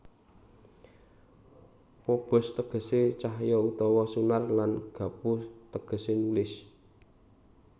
Phobos tegese cahya utawa sunar lan graphoo tegese nulis